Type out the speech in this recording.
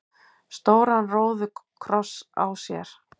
stóran róðukross á sér.